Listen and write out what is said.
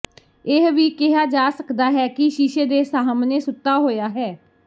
ਇਹ ਵੀ ਕਿਹਾ ਜਾ ਸਕਦਾ ਹੈ ਕਿ ਸ਼ੀਸ਼ੇ ਦੇ ਸਾਹਮਣੇ ਸੁੱਤਾ ਹੋਇਆ ਹੈ